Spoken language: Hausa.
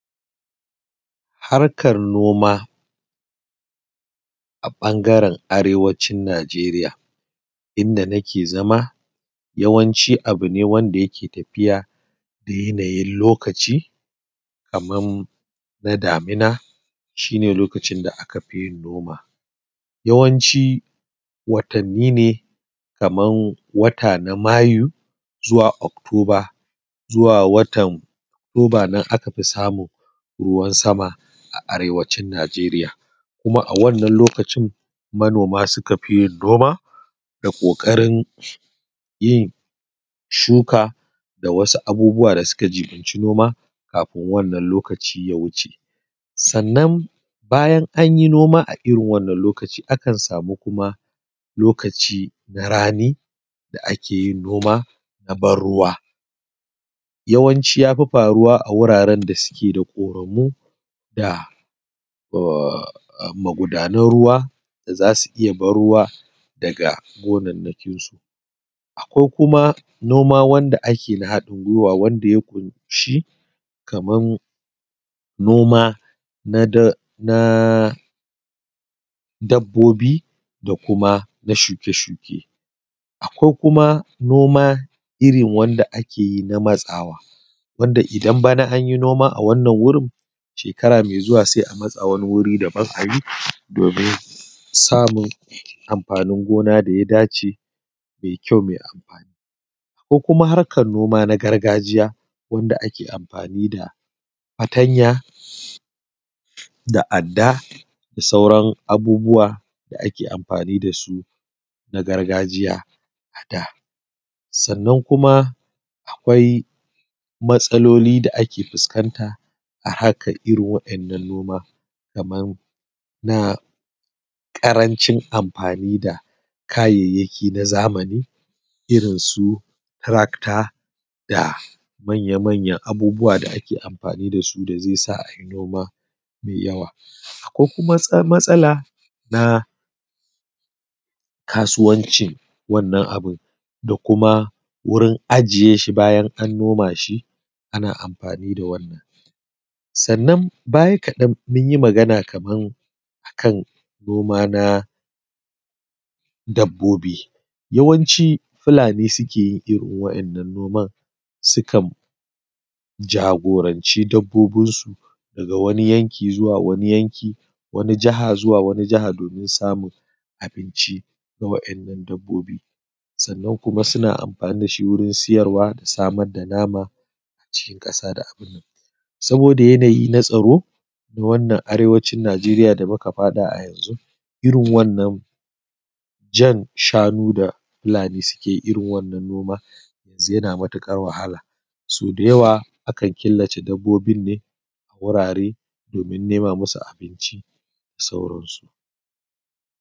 Harkar noma a ɓangaren Arewacin Nijeriya inda nake zama yawanci abu ne wanda yake da tafiya da yanayi na lokaci kamar na damina shi ne lokacin da aka fi yin noma. Yawanci watanni ne kamar wata na Mayu zuwa october zuwa watan October nan aka fi samun ruwan sama a Arewacin Nijeriya kuma a wannan lokacin manoma suka fi yin noma da kokari yin shuka da wsu abubuwa da suka jiɓinci noma kafin wannan lokaci. Sannan bayna an yi nom a irin wannan lokaci akan sama na rani da ake yin noma na ban ruwa, yawanci ya fi faruwa da wuraren da suke da ƙoramu ko magudanan ruwa da za su iya ban ruwa daga gonakin su ko kuma noma wanda ake yi na haɗin guiwa wanda shi kamar noma na dabbobi da na shuke-shuke. Akwai kuma noma irin wanda ake yi na matsawa wanda idan an yi noma a wannan wuri shekara mai zuwa sai a matsa wani wuri daban domin samun amfani gona da ya dace mai ƙyau mai amfani. Akwai kuma harkar noma na gargajiya wanda ake amfani da fatanya da adda da suaran abubuwa da ake amfani da su na gargajiya da sauran abubuwa da ake amfani da su na sauran abubuwa na gargajiya a da sannan kuma akwai matsalolin da ake fuskanta a harkar irin waɗannan noma kamar na karancin amfani da kayayyakin zamani irinsu tarakta da manya-manyan abubuwa da ake amfani da su da zai sa a yi noma mai yawa ko kuma matsala na kasuwanci wannan abu da kuma wurin ajiye shi bayan an noma shi ana amfani da wannan. Sannan baya kaɗan mun yi magana akan noma na dabbobi yawancin fulani suke yi irin waɗannan sukan jagoranci dabbobinsu daga wani yanki zuwa wani yanki wani jiha zuwa wani jiha domin samun abinci ga waɗannan dabbobi. Sannan kuma suna amfani da shi wajen sayarwa da samar da nama a cikin ƙasa. Saboda yanayi na tsaro na wannan Arewacin Nijeriya da muka faɗa a yanzu irin wannan ja shanu da fulani suke yi na noma yanzu yana matuƙar wahala, sau da yawa akan killace dabbobin ne a domin nema musu abunci da sauransu.